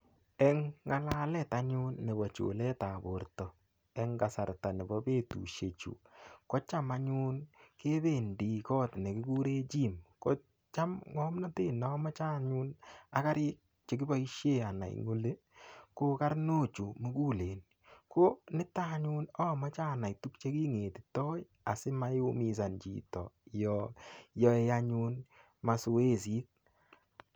Eng ngalalet anyun nebo chulet ap borto eng kasarta nebo betushek chu kocham anyun kebendi kot nekikure gym kocham ng'omnotet neamoche anyun ak karit chekiboishe anai eng oli ko karnok chu mukulen ko nito anyun amoche anai tukche kingetitoi asimaiumizan chito yo yoei anyun masoesit.